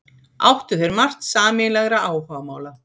Áttu þeir margt sameiginlegra áhugamála.